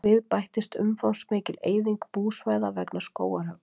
Við bættist umfangsmikil eyðing búsvæða vegna skógarhöggs.